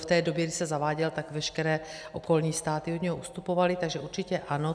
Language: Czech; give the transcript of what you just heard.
V té době, kdy se zaváděl, tak veškeré okolní státy od něj ustupovaly, takže určitě ano.